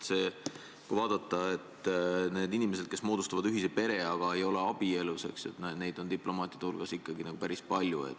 Aga neid inimesi, kes moodustavad ühise pere, aga ei ole abielus, on diplomaatide hulgas ikkagi päris palju.